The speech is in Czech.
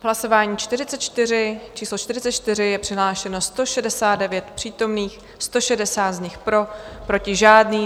V hlasování číslo 44 je přihlášeno 169 přítomných, 160 z nich pro, proti žádný.